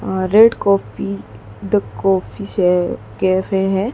Um red coffee the coffee ये cafe है।